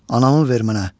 Anamı ver mənə.